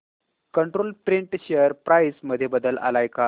control Print share price मध्ये बदल आलाय का